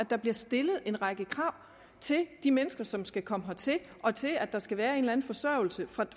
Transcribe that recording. der bliver stillet en række krav til de mennesker som skal komme hertil og til at der skal være en forsørgelse